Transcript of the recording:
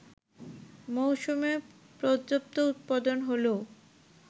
মৌসুমে পর্যাপ্ত উৎপাদন হলেও